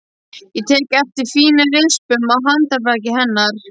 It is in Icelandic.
Ég tek eftir fínum rispum á handarbaki hennar.